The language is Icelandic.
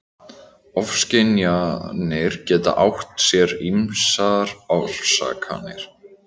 Ofskynjanir geta átt sér ýmsar orsakir.